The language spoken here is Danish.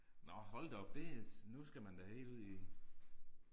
Nåh hold da op det nu skal man da hel ned i